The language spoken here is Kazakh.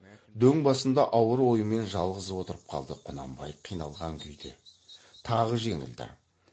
дөң басында ауыр оймен жалғыз отырып қалды құнанбай қиналған күйде тағы жеңілді